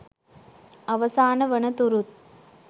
අවසාන වන තුරුත්